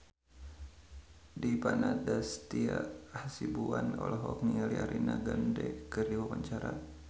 Dipa Nandastyra Hasibuan olohok ningali Ariana Grande keur diwawancara